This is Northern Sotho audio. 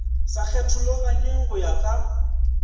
sa kgethologanyweng go ya ka